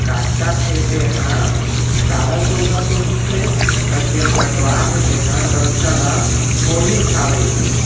काटत हे तेहा सादा कुरता पेंनधिस हे अउ जेहा कटवात हे तेहा गमछा ला ओड़िस हावे।